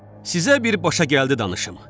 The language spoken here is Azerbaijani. Sizə bir başa gəldi danışım.